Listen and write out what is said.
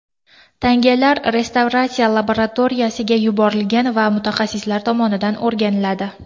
Tangalar restavratsiya laboratoriyasiga yuborilgan va mutaxassislar tomonidan o‘rganiladi.